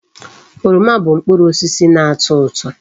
Oroma bu mkpụrụ osisi na-ato uto.